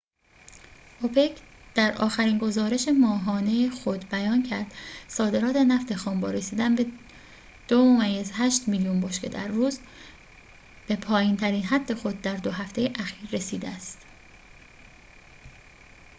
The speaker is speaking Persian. اوپک در آخرین گزارش ماهانه خود بیان کرد صادرات نفت خام با رسیدن به ۲.۸ میلیون بشکه در روز به پایین‌ترین حد خود در دو هفته اخیر رسیده است